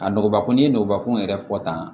A nɔgɔnba ko n'i ye nɔgɔnbakun yɛrɛ fɔ tan